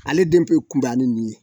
Ale den bɛ kunbaya ni nin ye